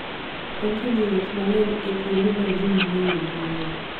Onge jowuoth mang'eny e kuonde ma ji mang'eny dhiye.